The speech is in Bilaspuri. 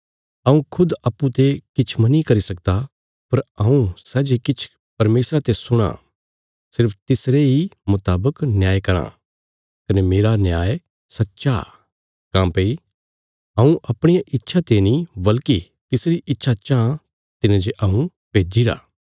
हऊँ खुद अप्पूँ ते किछ मनी करी सकदा पर हऊँ सै जे किछ परमेशरा ते सुणां सिर्फ तिसरे इ मुतावक न्याय कराँ कने मेरा न्याय सच्चा काँह्भई हऊँ अपणिया इच्छा ते नीं बल्कि तिसरी इच्छा चाँह तिने जे हऊँ भेज्जिरा